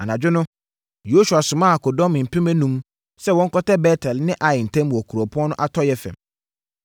Anadwo no, Yosua somaa akodɔm mpem enum sɛ wɔnkɔtɛ Bet-El ne Ai ntam wɔ kuropɔn no atɔeɛ fam.